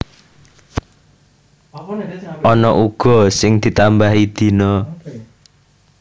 Ana uga sing ditambahi dina